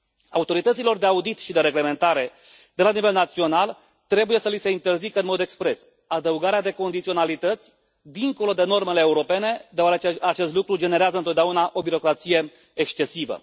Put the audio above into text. Autorităților de audit și de reglementare de la nivel național trebuie să li se interzică în mod expres adăugarea de condiționalități dincolo de normele europene, deoarece acest lucru generează întotdeauna o birocrație excesivă.